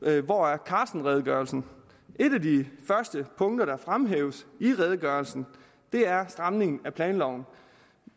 hedde hvor er carsten redegørelsen et af de første punkter der fremhæves i redegørelsen er stramningen af planloven